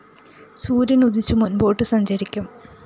സൂര്യന്‍ ഉദിച്ച് മുന്‍പോട്ട് സഞ്ചരിക്കും